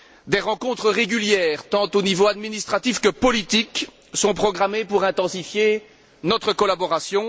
Des rencontres régulières tant au niveau administratif que politique sont programmées pour intensifier notre collaboration.